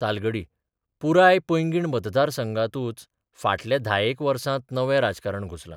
तालगडी पुराय पँगीण मतदारसंघांतूच फाटल्या धायेक वसांत नवें राजकारण घुसलां.